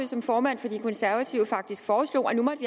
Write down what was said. som formand for de konservative faktisk foreslog at nu